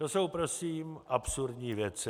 To jsou prosím absurdní věci.